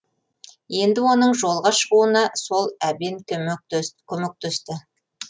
енді оның жолға шығуына сол әбен көмектесті